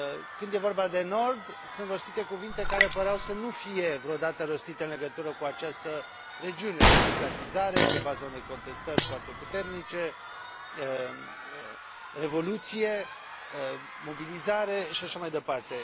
Când e vorba de nord, sunt rostite cuvinte care păreau să nu fie vreodată rostite în legătură cu această regiune democratizare pe baza unei contestări foarte puternice, revoluție, mobilizare și așa mai departe.